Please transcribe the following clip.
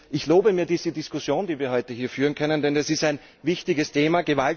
Ich lobe mir diese Diskussion, die wir heute hier führen können, denn das ist ein wichtiges Thema.